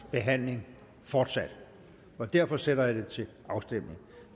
behandling fortsat og derfor sætter jeg det til afstemning